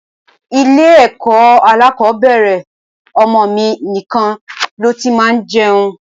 Ilé ẹ̀kọ́ alákòbẹ̀rẹ̀ ọmọ mi nìkan ló ti máa ń jẹun.